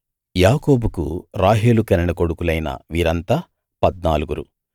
యాకోబుకు రాహేలు కనిన కొడుకులైన వీరంతా పద్నాలుగురు